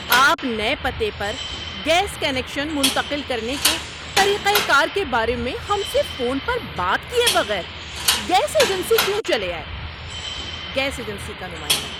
آپ نئے پتے پر گیس کنکشن منتقل کرنے کے طریقہ کار کے بارے میں ہم سے فون پر بات کیے بغیر گیس ایجنسی کیوں چلے آئے؟ (گیس ایجنسی کا نمائندہ)